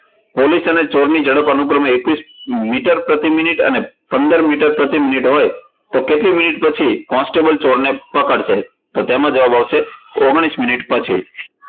police અને ચોર ની ઝડપ અનુક્રમે એકવીસ મીટર પ્રતિ minute અને પંદર મીટર પ્રતિ minute હોય તો કેટલી minute પછી constable ચોર ને પકડશે? તો તેમાં જવાબ આવશે ઓગણીસ minute પછી